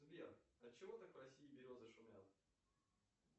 сбер от чего так в россии березы шумят